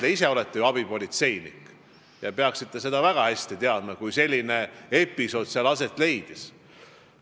Te ise olete ju abipolitseinik ja peaksite väga hästi teadma, kui seal selline episood aset leidis.